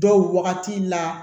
Dɔw wagati la